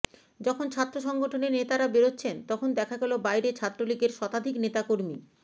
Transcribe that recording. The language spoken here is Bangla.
যখন ছাত্র সংগঠনের নেতারা বেরোচ্ছেন তখন দেখা গেল বাইরে ছাত্রলীগের শতাধিক নেতাকর্মী